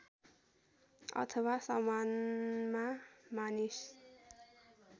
अथवा सामानमा मानिस